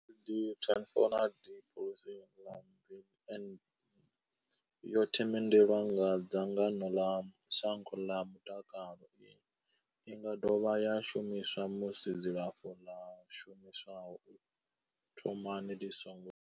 , Tenofovir disoproxil, yo themendelwa nga dzangano ḽa shango ḽa zwa mutakalo. I nga dovha ya shumiswa musi dzilafho ḽo shumiswaho u thomani ḽi songo.